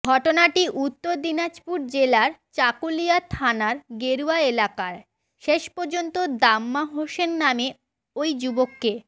ঘটনাটি উত্তর দিনাজপুর জেলার চাকুলিয়া থানার গেরুয়া এলাকায় শেষ পর্যন্ত দাম্মা হুসেন নামে ওই যুবককে